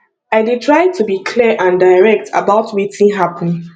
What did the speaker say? i dey try to be clear and direct about wetin happen